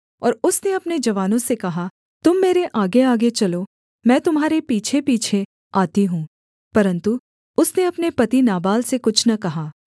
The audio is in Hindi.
और उसने अपने जवानों से कहा तुम मेरे आगेआगे चलो मैं तुम्हारे पीछेपीछे आती हूँ परन्तु उसने अपने पति नाबाल से कुछ न कहा